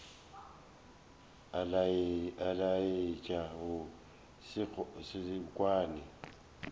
a laetša go se kwane